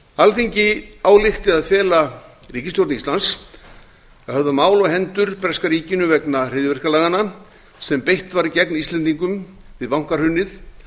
alþingi álykti að fela ríkisstjórn íslands að höfða mál á hendur breska ríkinu vegna hryðjuverkalaganna sem beitt var gegn íslendingum við bankahrunið